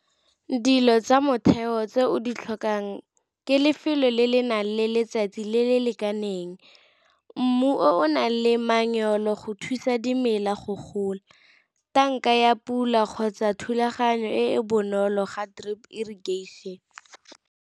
Dilo tsa motheo tse o di tlhokang ke lefelo le le nang le letsatsi le le lekaneng, mmu o o nang le go thusa dimela go gola, tanka ya pula kgotsa thulaganyo e bonolo ga drip irrigation.